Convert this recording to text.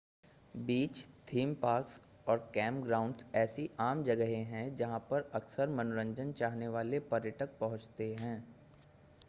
बीच theme parks और camp grounds ऐसी आम जगहें हैं जहां पर अक्सर मनोरंजन चाहने वाले पर्यटक पहुंचते हैं